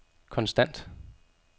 konstant